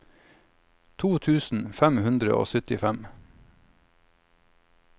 to tusen fem hundre og syttifem